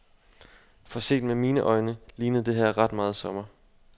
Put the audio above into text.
For set med mine øjne, lignede det her ret meget sommer.